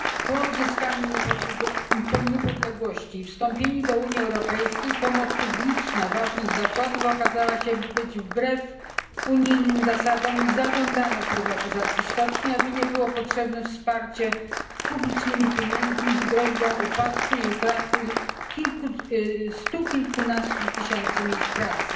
Po odzyskaniu niepodległości i wstąpieniu do Unii Europejskiej pomoc publiczna dla ważnych zakładów okazała się być wbrew unijnym zasadom i zażądano prywatyzacji stoczni, aby nie było potrzebne wsparcie publicznymi pieniędzmi, z groźbą upadku i utraty stu kilkunastu tysięcy miejsc pracy.